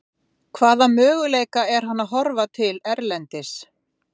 Hvaða möguleika er hann að horfa til erlendis?